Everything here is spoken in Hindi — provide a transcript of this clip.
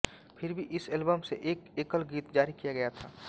फिर भी इस एल्बम से एक एकल गीत जारी किया गया था